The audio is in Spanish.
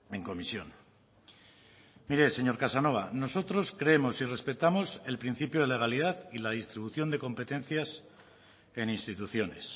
en comisión mire señor casanova nosotros creemos y respetamos el principio de legalidad y la distribución de competencias en instituciones